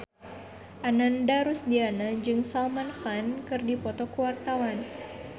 Ananda Rusdiana jeung Salman Khan keur dipoto ku wartawan